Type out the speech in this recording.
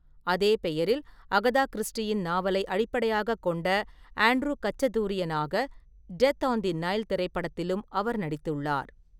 அதே பெயரில் அகதா கிறிஸ்டியின் நாவலை அடிப்படையாகக் கொண்ட ஆண்ட்ரூ கச்சதூரியனாக டெத் ஆன் தி நைல் திரைப்படத்திலும் அவர் நடித்துள்ளார்.